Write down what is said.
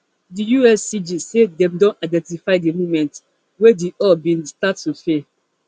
di uscg say dem don identify di moment wey di hull bin start to fail